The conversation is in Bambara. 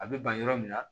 A bɛ ban yɔrɔ min na